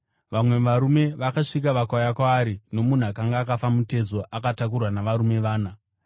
Vamwe varume vakasvika, vakauya kwaari nomunhu akanga akafa mutezo, akatakurwa navarume vana.